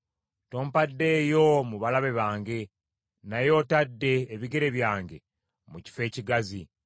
Tompaddeeyo mu balabe bange, naye otadde ebigere byange mu kifo ekigazi.